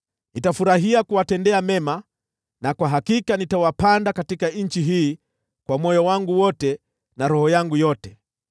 Nitafurahia kuwatendea mema, na kwa hakika nitawapanda katika nchi hii kwa moyo wangu wote na roho yangu yote.